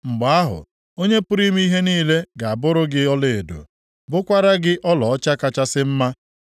Mgbe ahụ, Onye pụrụ ime ihe niile ga-abụrụ gị ọlaedo, bụkwara gị ọlaọcha kachasị mma.